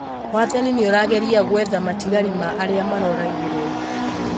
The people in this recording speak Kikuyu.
Wathani nĩurageria gwetha matigari ma arĩa maroragirwo